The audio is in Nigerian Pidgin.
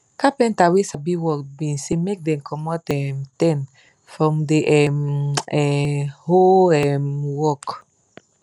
carpenta wey sabi work been say make dem comot um ten from the um um whole um work